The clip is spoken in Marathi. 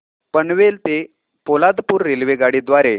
पनवेल ते पोलादपूर रेल्वेगाडी द्वारे